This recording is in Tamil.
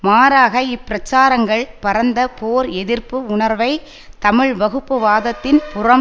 மாறாக இப்பிரச்சாரங்கள் பரந்த போர் எதிர்ப்பு உணர்வை தமிழ் வகுப்புவாதத்தின் புறம்